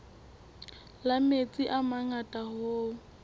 la metsi a mangata hoo